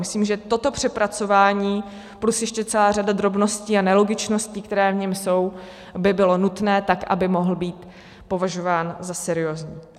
Myslím, že toto přepracování plus ještě celá řada drobností a nelogičností, které v něm jsou, by bylo nutné tak, aby mohl být považován za seriózní.